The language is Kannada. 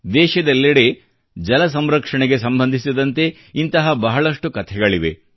ದೇಶದೆಲ್ಲೆಡೆ ಜಲ ಸಂರಕ್ಷಣೆಗೆ ಸಂಬಂಧಿಸಿದಂತೆ ಇಂತಹ ಬಹಳಷ್ಟು ಕಥೆಗಳಿವೆ